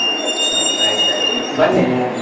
ಆಯ್ತ್ ಆಯ್ತು ಬನ್ನಿ.